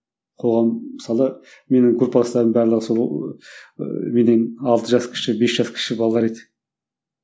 қоғам мысалы менің группаластарым барлығы сол ыыы менен алты жас кіші бес жас кіші балалар еді